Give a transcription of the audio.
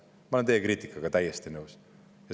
Ma olen teie kriitikaga täiesti nõus.